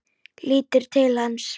Lítur til hans.